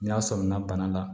N'a sɔmina bana la